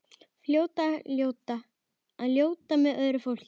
Að fljóta með öðru fólki.